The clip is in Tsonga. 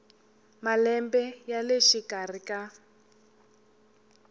malembe ya le xikarhi ka